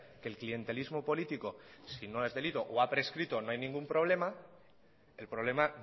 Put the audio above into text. que el clientelismo político si no es delito o ha prescrito o no hay ningún problema el problema